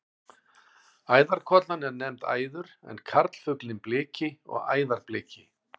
Æðarkollan er nefnd æður en karlfuglinn bliki og æðarbliki.